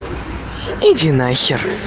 иди на хер